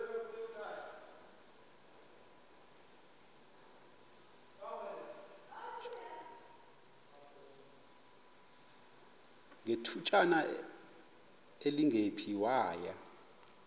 ngethutyana elingephi waya